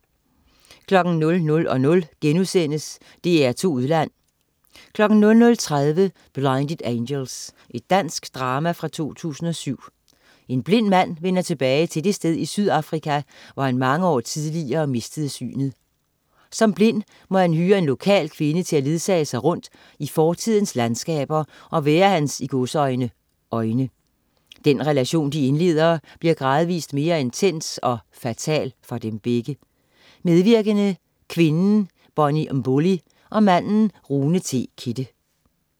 00.00 DR2 Udland* 00.30 Blinded Angels. Dansk drama fra 2007. En blind mand vender tilbage til det sted i Sydafrika, hvor han mange år tidligere mistede synet. Som blind må han hyre en lokal kvinde til at ledsage sig rundt i fortidens landskaber og være hans "øjne". Den relation, de indleder, bliver gradvist mere intens og fatal for dem begge. Medvirkende: Kvinden: Bonnie Mbuli og manden: Rune T. Kidde